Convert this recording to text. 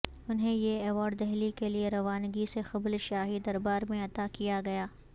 انھیں یہ ایوارڈ دہلی کے لیے روانگی سے قبل شاہی دربار میں عطا کیا گیا